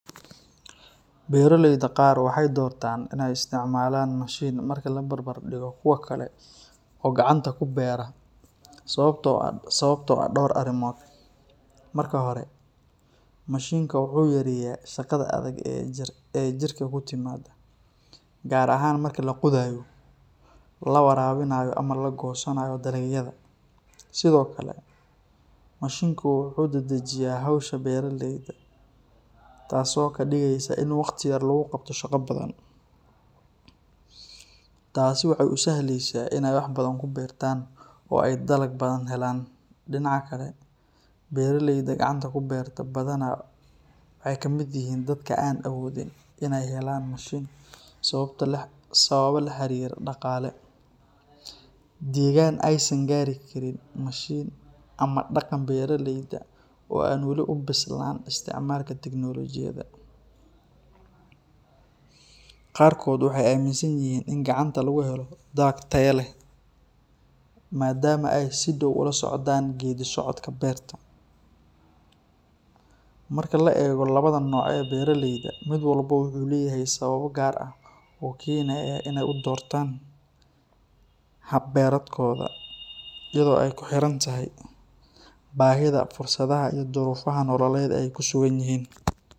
Beroleyda qaar waxay doortaan inay isticmaalaan mashiin marka la barbar dhigo kuwa kale oo gacanta ku beera sababtoo ah dhowr arrimood. Marka hore, mashiinka wuxuu yareeyaa shaqada adag ee jirka ku timaada, gaar ahaan marka la qodayo, la waraabinayo ama la goosanayo dalagyada. Sidoo kale, mashiinku wuxuu dedejiyaa hawsha beeralayda, taasoo ka dhigaysa in waqti yar lagu qabto shaqo badan. Taasi waxay u sahlaysaa inay wax badan beertaan oo ay dalag badan helaan. Dhinaca kale, beeraleyda gacanta ku beerta badanaa waxay ka mid yihiin dadka aan awoodin inay helaan mashiin sababo la xiriira dhaqaale, degaan aysan gaari karin mashiin ama dhaqanka beeraleyda oo aan weli u bislaan isticmaalka tignoolajiyada. Qaarkood waxay aaminsan yihiin in gacanta lagu helo dalag tayo leh maadaama ay si dhow ula socdaan geeddi-socodka beerta. Marka la eego labadan nooc ee beeraleyda, mid walba wuxuu leeyahay sababo gaar ah oo keenaya inay u doortaan hab beereedkooda, iyadoo ay ku xiran tahay baahida, fursadaha iyo duruufaha nololeed ee ay ku sugan yihiin.